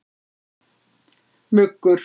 Muggur